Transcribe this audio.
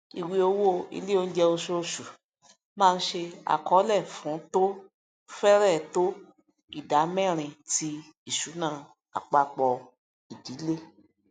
ìwéòwò ilé onjẹ oṣooṣu máa ń ṣe àkọọlẹ fún tó fẹrẹ to idámẹrin ti ìṣúná apapọ ìdílé